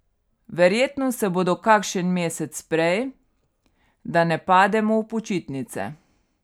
Verjetno se bodo kakšen mesec prej, da ne pademo v počitnice.